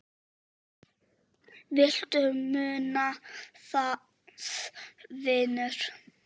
Viltu muna það, vinur?